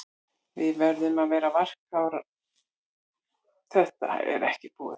Við verðum að vera varkárir, þetta er ekki búið.